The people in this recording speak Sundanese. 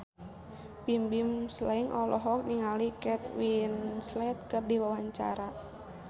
Bimbim Slank olohok ningali Kate Winslet keur diwawancara